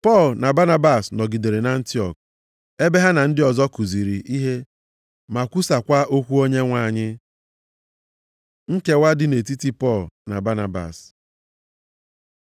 Pọl na Banabas nọgidere nʼAntiọk, ebe ha na ndị ọzọ kuziri ihe ma kwusakwa okwu Onyenwe anyị. Nkewa nke dị nʼetiti Pọl na Banabas